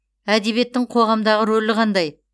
әдебиеттің қоғамдағы рөлі қандай